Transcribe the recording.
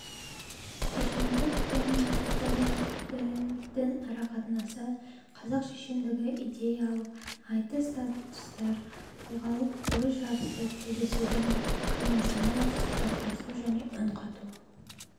шешендік пен тіл діл дін арақатынасы қазақ шешендігіндегі идеялық айтыстартыстар тұлғалық ой жарысы тілдесудің қиысыны сұхбаттасу және үнқату